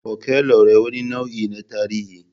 Fokelore wani nau'i ne na tarihi.